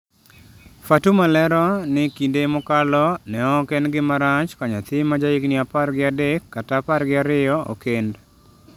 Fatuma lero ni kinde mokalo, ne ok en gima rach ka nyathi ma ja higni apar gi adek kata apar gi ariyo okend.